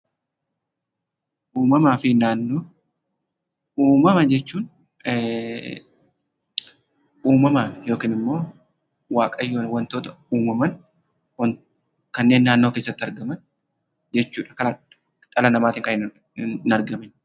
Uumamaa fi Naannoo: Uumama jechuun uumamaan yookiin immoo waaqayyoon wantoota uumaman kanneen naannoo keessatti argaman jechuudha dhala namaatiin kanbhin argamne.